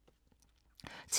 TV 2